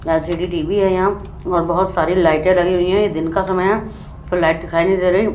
ऐल _C _D T _V यहाँ और बहत सारे लाइटे लगी हुई है दिन का समय है लाइट दिखाई नहीं दे रही है।